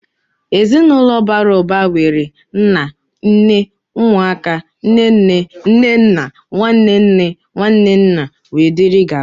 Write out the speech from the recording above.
Ezinaụlọ bàrà ụba nwere nnà, nné, ụmụ aka, nné nné, nné nna, nwanne nne, nwanne nna, wee dịrị gaba..